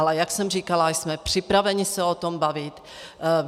Ale jak jsem říkala, jsme připraveni se o tom bavit.